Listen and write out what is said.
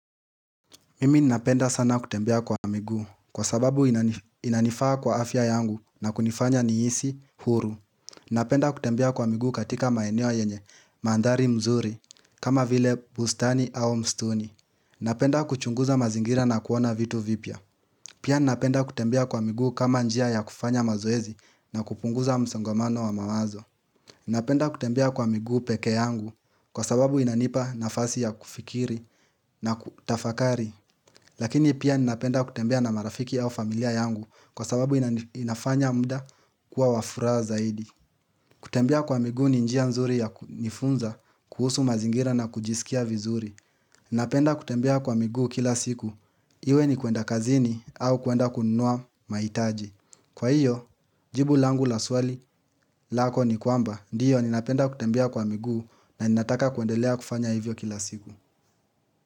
Mimi napenda sana kutembea kwa miguu kwa sababu inanifaa kwa afya yangu na kunifanya nihisi uhuru Napenda kutembea kwa miguu katika maeneo yenye mandhari mzuri kama vile bustani au mstuni Napenda kuchunguza mazingira na kuona vitu vipya Pia napenda kutembea kwa miguu kama njia ya kufanya mazoezi na kupunguza msongamano wa maazo Napenda kutembea kwa migu peke yangu kwa sababu inanipa nafasi ya kufikiri na kutafakari Lakini pia ninapenda kutembea na marafiki au familia yangu kwa sababu inafanya mda kuwa wa furaha zaidi kutembea kwa migu ni njia nzuri ya nifunza kuhusu mazingira na kujisikia vizuri Ninapenda kutembea kwa miguu kila siku iwe ni kuenda kazini au kuenda kunua mahitaji Kwa hiyo jibu langu la swali lako ni kwamba Ndio ninapenda kutembea kwa miguu na ninataka kuendelea kufanya hivyo kila siku.